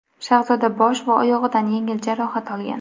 Shahzoda bosh va oyog‘idan yengil jarohat olgan.